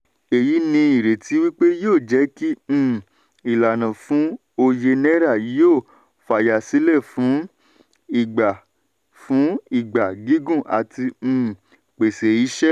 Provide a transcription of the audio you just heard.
èyí ní ìrètí wípé yóò jẹ́ kí um ìlànà fún òye náírà yóò fayasílẹ̀ fún ìgbà fún ìgbà gígùn àti um pèsè ìṣe.